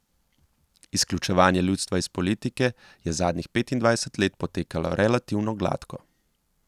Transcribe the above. Izključevanje ljudstva iz politike je zadnjih petindvajset let potekalo relativno gladko.